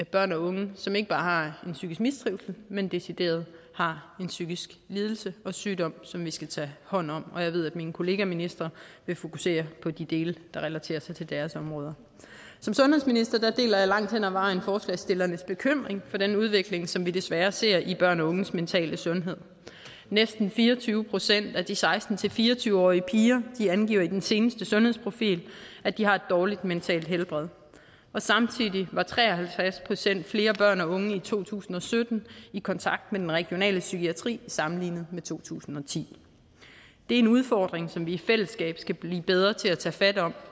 børn og unge som ikke bare har psykisk mistrivsel men decideret har en psykisk lidelse og sygdom som vi skal tage hånd om og jeg ved at mine kollegaministre vil fokusere på de dele der relaterer sig til deres områder som sundhedsminister deler jeg langt hen ad vejen forslagsstillernes bekymring for den udvikling som vi desværre ser i børn og unges mentale sundhed næsten fire og tyve procent af de seksten til fire og tyve årige piger angiver i den seneste sundhedsprofil at de har et dårligt mentalt helbred og samtidig var tre og halvtreds procent flere børn og unge i to tusind og sytten i kontakt med den regionale psykiatri sammenlignet med i to tusind og ti det er en udfordring som vi i fællesskab skal blive bedre til at tage fat om